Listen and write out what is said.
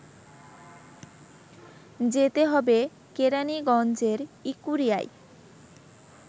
যেতে হবে কেরানীগঞ্জের ইকুরিয়ায়